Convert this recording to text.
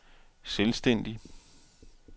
selvstændig